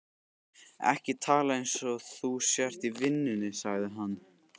Ekki tala eins og þú sért í vinnunni, sagði hann.